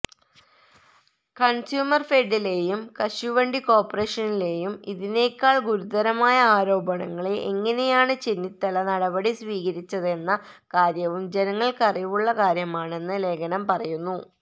കണ്സ്യൂമര്ഫെഡിലേയും കശുവണ്ടി കോര്പ്പറേഷനിലേയും ഇതിനേക്കാള് ഗുരുതരമായ ആരോപണങ്ങളെ എങ്ങനെയാണ് ചെന്നിത്തല നടപടി സ്വീകരിച്ചതെന്ന കാര്യവും ജനങ്ങള്ക്കറിവുള്ള കാര്യമാണെന്ന് ലേഖനം പറയുന്നു